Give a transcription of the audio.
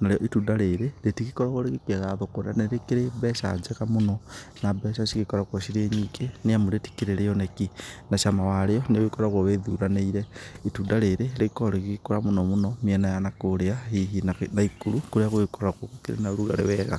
narĩo itunda rĩrĩ, rĩtigĩkoragwo rĩgĩkiaga thoko na nĩ rĩkĩrĩ mbeca njega mũno, na mbeca cigĩkoragwo cirĩ nyingĩ nĩ amu rĩtikĩrĩ rĩoneki na cama warĩo nĩ ũgĩkoragwo wĩthuranĩire. Itunda rĩrĩ rĩkoragwo rĩgĩgĩkũra mũno mũno mĩena ya na kũrĩa hihi Naikuru kũrĩa gũgĩkoragwo kũrĩ na ũrugarĩ wega.